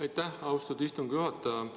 Aitäh, austatud istungi juhataja!